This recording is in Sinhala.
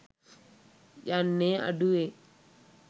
යන්නේ අඩුවෙන්.